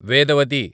Vedavathi